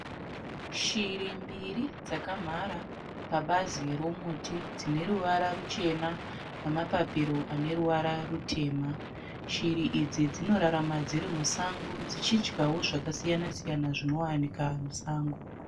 Shiri mbiri dzakamhara pabazi romuti dzine ruvara ruchena nema papiro ane ruvara rutema. Shiri idzi dzinorarama dziri musango dzichidyawo zvakasiyana siyana zvinowanika musango.